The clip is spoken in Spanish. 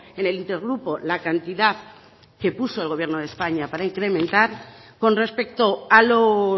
en el inter grupo la cantidad que puso el gobierno de españa para incrementar con respecto a los